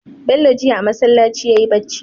Bello jiya a masalaci yayi bacci